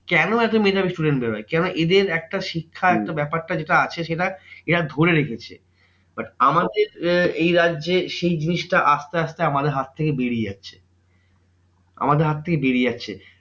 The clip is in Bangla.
কেন এত মেধাবী student বের হয়? কেননা এদের একটা শিক্ষা একটা ব্যাপারটা যেটা আছে সেটা এরা ধরে রেখেছে। but আমাদের আহ এই রাজ্যে সেই জিনিসটা আসতে আসতে আমাদের হাত থেকে বেরিয়ে যাচ্ছে। আমাদের হাত থেকে বেরিয়ে যাচ্ছে